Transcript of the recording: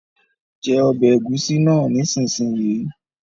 Jẹ ọbẹ̀ ẹ̀gúsí náà nísinsìnyí!